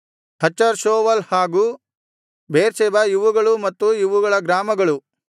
ಹಚರ್‌ Shual ಹಾಗು Beersheba ಇವುಗಳೂ ಮತ್ತು ಇವುಗಳ ಗ್ರಾಮಗಳು